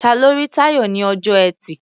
Ta ló rí Táyọ̀ ní ọjọ́ Ẹtì?